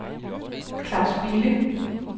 Claus Bille